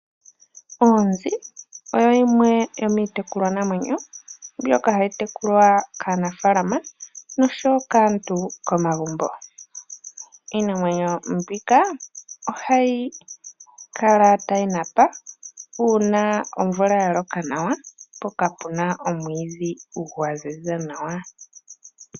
Oonzi oyo yimwe yomiitekulwa namwenyo mbyoka hayi tekulwa kaanafaalama nosho woo kaantu komagumbo. Iinamwenyo mbika ohayi kala tayi napa uuna omvula ya loka nawa mpoka puna omwiidhi gwa ziza nawa.